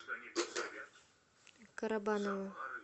карабаново